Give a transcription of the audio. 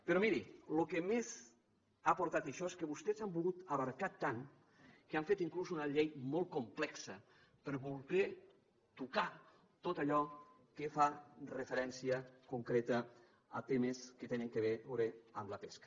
però miri el que més ha portat això és que vostès han volgut abraçar tant que han fet inclús una llei molt complexa per voler tocar tot allò que fa referència concreta a temes que tenen a veure amb la pesca